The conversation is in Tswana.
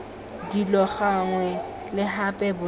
dilo gangwe le gape bonnye